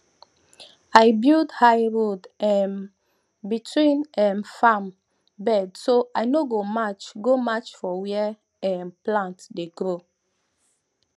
i build high road um between um farm bed so i no go match go match for where um plant dey grow